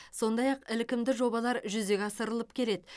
сондай ақ ілкімді жобалар жүзеге асырылып келеді